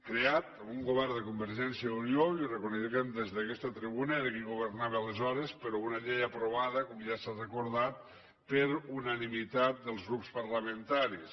creat per un govern de convergència i unió i ho reconeixem des d’aquesta tribuna era qui governava aleshores però una llei aprovada com ja s’ha recordat per unanimitat dels grups parlamentaris